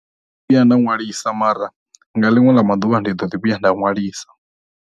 Vhuya nda ṅwalisa mara, nga ḽiṅwe ḽa ma ḓuvha ndi ḓoḓi vhuya nda ṅwalisa.